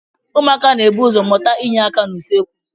Ụmụaka na-ebu ụzọ mụta inye aka n'usekwu.